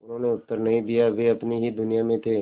उन्होंने उत्तर नहीं दिया वे अपनी ही दुनिया में थे